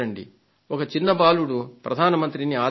ఒక చిన్న బాలుడు ప్రధాన మంత్రిని ఆదేశించాడు